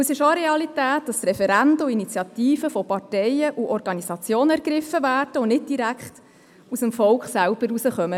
Es ist auch eine Realität, dass Referenden und Initiativen von Parteien und Organisationen ergriffen werden und meist nicht direkt aus dem Volk stammen.